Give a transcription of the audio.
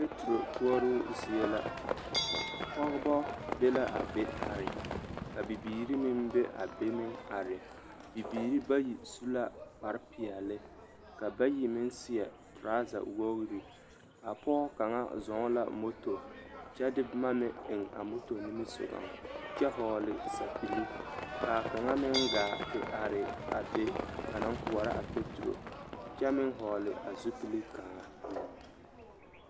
A noba maala kuori a kuori nyɛ zie e la nempeɛle yoŋ la maala ba kuori a kūūdaga la biŋ kyɛ ka a neɛ kaŋ a ɡbi dumo kyɛ puoro a noba mine naŋ zeŋ dakoɡi zu a niŋe poɔ a noba su la kparsɔɔlɔ yoŋ tɛɡɛ kyɛ ka a kaŋ su kparkootowoɡi.